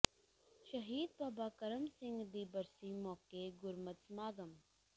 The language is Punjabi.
ਸ਼ਹੀਦ ਬਾਬਾ ਕਰਮ ਸਿੰਘ ਦੀ ਬਰਸੀ ਮੌਕੇ ਗੁਰਮਤਿ ਸਮਾਗਮ